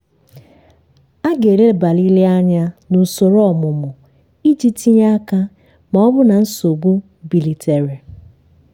a ga-elebarịrị anya na usoro ọmụmụ iji tinye aka ma ọ bụrụ na nsogbu bilitere